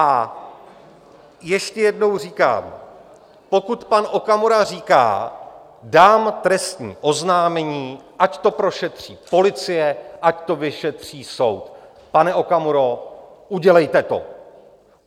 A ještě jednou říkám, pokud pan Okamura říká: dám trestní oznámení, ať to prošetří policie, ať to vyšetří soud - pane Okamuro, udělejte to.